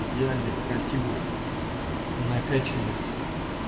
идеальных красивых накаченных